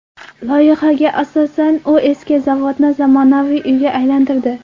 Loyihaga asosan, u eski zavodni zamonaviy uyga aylantirdi.